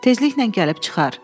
Tezliklə gəlib çıxar.